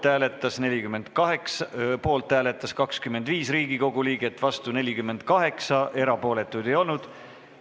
Hääletustulemused Ettepaneku poolt hääletas 25 Riigikogu liiget, vastu 48, erapooletuid ei olnud.